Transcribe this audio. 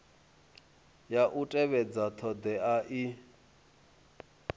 ya u tevhedza thodea i